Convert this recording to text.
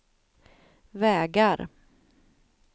vägar